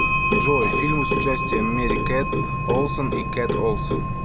джой фильмы с участием мери кет олсон и кет олсон